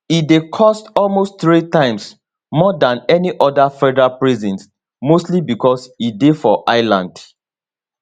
e dey cost almost three times more dan any oda federal prison mostly becos e dey for island